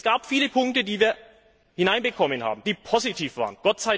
Es gab viele Punkte, die wir hineinbekommen haben, die positiv waren.